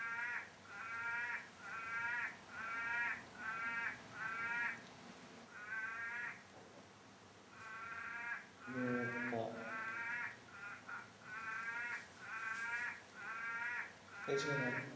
এছাড়া